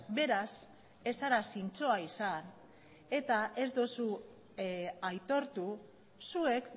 beraz ez zara zintzoa izan eta ez duzu aitortu zuek